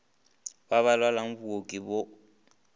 ba ba lwalago booki go